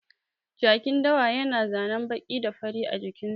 Jakin dawa ya na zanen baƙi da fari a jikin sa